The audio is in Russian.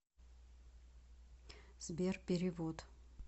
сбер перевод